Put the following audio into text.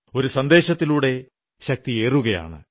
ഒരു സന്ദേശത്തിലൂടെ ശക്തിയേറുകയാണ്